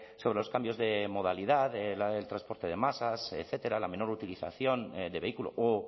sobre los cambios de modalidad del transporte de masas etcétera la menor utilización de vehículo o